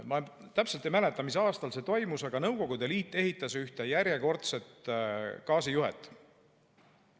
Ma täpselt ei mäleta, mis aastal see toimus, aga Nõukogude Liit ehitas ühte järjekordset gaasijuhet.